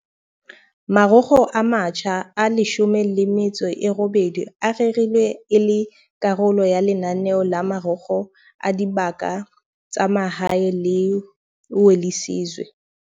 Marokgo a matjha a 18 a rerilwe e le karolo ya lenaneo la Marokgo a Dibaka tsa Mahae la Welisizwe.